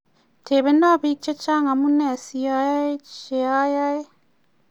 tebeno biik che chang amune sa yae che ayae